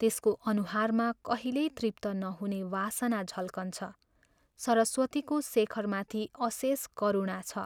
त्यसको अनुहारमा कहिल्यै तृप्त नहुने वासना झल्कन्छ सरस्वतीको शेखरमाथि अशेष करूणा छ।